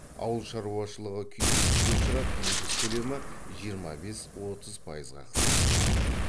ауыл шаруашылығы күйзеліске ұшырап егіс көлемі жиырма бес отыз пайызға қысқарды